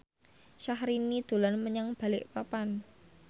Syahrini dolan menyang Balikpapan